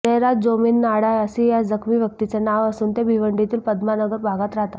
जयराज जोमनीनाडा असे या जखमी व्यक्तीचे नाव असून ते भिवंडीतील पद्मानगर भागात राहतात